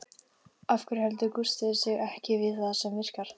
Af hverju heldur Gústi sig ekki við það sem virkar?